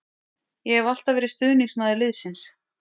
Ég hef alltaf verið stuðningsmaður liðsins.